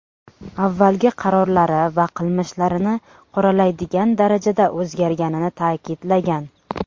Avvalgi qarorlari va qilmishlarini qoralaydigan darajada o‘zgarganini ta’kidlagan.